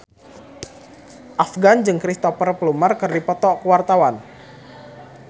Afgan jeung Cristhoper Plumer keur dipoto ku wartawan